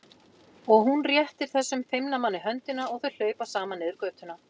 Og hún réttir þessum feimna manni höndina og þau hlaupa saman niður götuna.